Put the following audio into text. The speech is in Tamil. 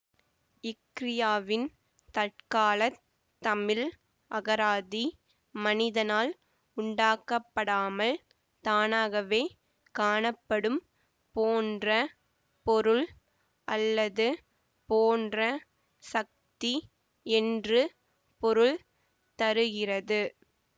க்ரியாவின் தற்காலத் தமிழ் அகராதி மனிதனால் உண்டாக்கப்படாமல் தானாகவே காணப்படும் போன்ற பொருள் அல்லது போன்ற சக்தி என்று பொருள் தருகிறது